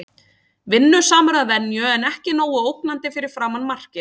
Vinnusamur að venju en ekki nógu ógnandi fyrir framan markið.